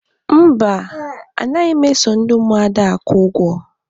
Mba, a naghị m eso ndị Ụmụada akwụ ụgwọ.